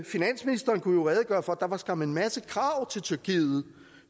finansministeren kunne jo redegøre for at der skam var en masse krav til tyrkiet